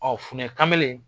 funɛ kamalen